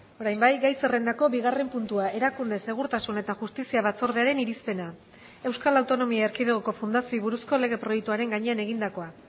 orain bai gai zerrendako bigarren puntua erakunde segurtasun eta justizia batzordearen irizpena euskal autonomia erkidegoko fundazioei buruzko legeproiektuaren gainean egindakoa